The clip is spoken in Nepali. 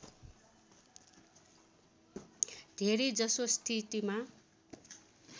धेरै जसो स्थितिमा